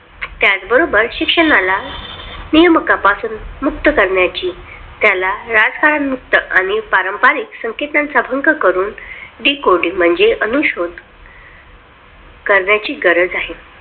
त्याचबरोबर शिक्षणाला नेमका पासून मुक्त करण्याची त्याला राजकारण मुक्त आणि पारंपारिक संकेतांचा भंग करून Decoding म्हणजे अनुश्रुत करण्याची गरज आहे.